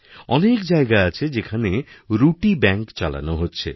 অনেক জায়গা আছে যেখানে রুটি ব্যাঙ্ক চালানো হচ্ছে